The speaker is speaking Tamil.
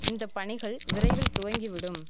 இந்த பணிகள் விரைவில் துவங்கி விடும்